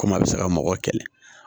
Komi a bɛ se ka mɔgɔ kɛlɛ